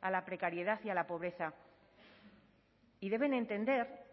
a la precariedad y a la pobreza y deben entender